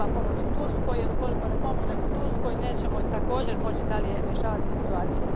Treba pomoći Turskoj, jer ukoliko ne pomognemo Turskoj nećemo, također, moći dalje rješavati situaciju.